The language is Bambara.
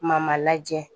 Ma ma lajɛ